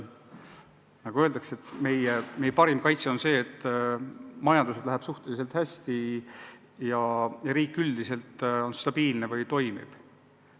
Nagu öeldakse, et meie parim kaitse on see, et majandusel läheb suhteliselt hästi ja riik üldiselt on stabiilne ja toimiv.